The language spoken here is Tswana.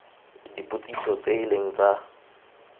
dipotsiso tse e leng tsa